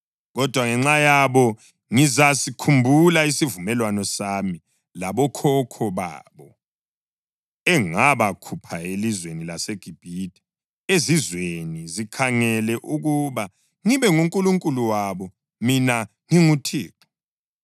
Kodwa ngenxa yabo ngizasikhumbula isivumelwano sami labokhokho babo engabakhupha elizweni laseGibhithe, izizwe zikhangele ukuba ngibe nguNkulunkulu wabo. Mina nginguThixo.’ ”